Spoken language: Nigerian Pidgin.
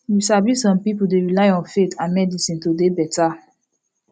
you sabi some pipul dey rely on faith and medicine to dey beta